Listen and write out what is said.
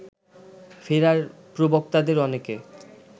ফেরার প্রবক্তাদের অনেকে